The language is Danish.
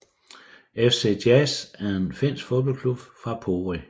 FC Jazz er en finsk fodboldklub fra Pori